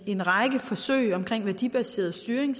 en række forsøg omkring værdibaseret styring